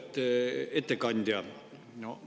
Auväärt ettekandja!